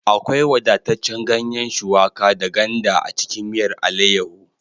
Akwai wadataccen ganye shuwaka da ganda a cikin miyar alaiyahu